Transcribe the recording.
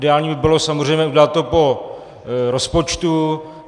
Ideální by bylo samozřejmě udělat to po rozpočtu.